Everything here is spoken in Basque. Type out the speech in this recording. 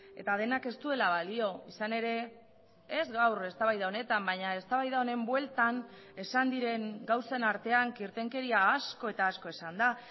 eta denak ez duela balio izan ere ez gaur eztabaida honetan baina eztabaida honen bueltan esan diren gauzen artean kirtenkeria asko eta asko esan da